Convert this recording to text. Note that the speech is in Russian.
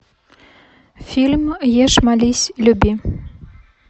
фильм ешь молись люби